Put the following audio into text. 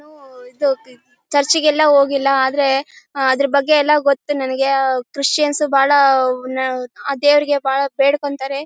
ನೂ ಇದು ಚರ್ಚ್ ಗೆಲ್ಲಾ ಹೋಗಿಲ್ಲಾ ಆದ್ರೆ ಅದ್ರ್ ಬಗ್ಗೆ ಎಲ್ಲಾ ಗೊತ್ತು ನಮಿಗೆ ಕ್ರಿಶ್ಚಿಯನ್ಸ್ ಬಹಳ ಅಹ್ ನ ಆ ದೇವ್ರಿಗೆ ಬಹಳ ಬೇಡ್ಕೋತಾರೆ